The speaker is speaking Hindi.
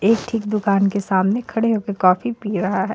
एक ठीक दूकान के सामने खड़े होके कॉफी पी रहा हे.